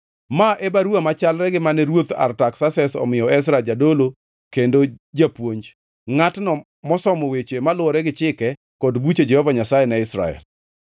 Ma e baruwa machalre gi mane mane Ruoth Artaksases omiyo Ezra jadolo kendo japuonj, ngʼatno mosomo weche maluwore gi chike kod buche Jehova Nyasaye ne Israel: